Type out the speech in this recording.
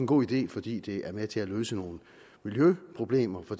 god idé fordi det er med til at løse nogle miljøproblemer for